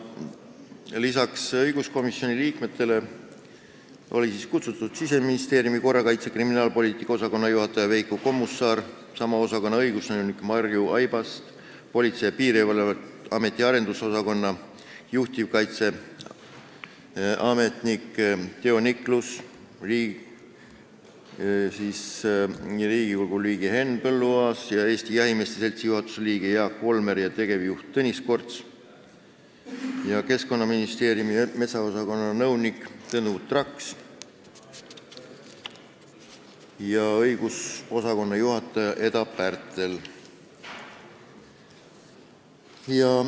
Lisaks õiguskomisjoni liikmetele olid sinna kutsutud Siseministeeriumi korrakaitse- ja kriminaalpoliitika osakonna juhataja Veiko Kommusaar, sama osakonna õigusnõunik Marju Aibast, Politsei- ja Piirivalveameti arendusosakonna juhtivkorrakaitseametnik Teo Niklus, Riigikogu liige Henn Põlluaas, Eesti Jahimeeste Seltsi juhatuse liige Jaak Volmer ja tegevjuht Tõnis Korts ning Keskkonnaministeeriumi metsaosakonna nõunik Tõnu Traks ja õigusosakonna juhataja Eda Pärtel.